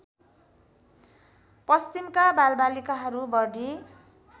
पश्चिमका बालबालिकाहरू बढी